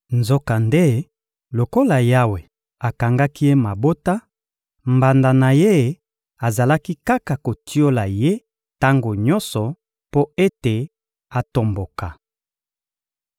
Nzokande, lokola Yawe akangaki ye mabota, mbanda na ye azalaki kaka kotiola ye tango nyonso mpo ete atomboka.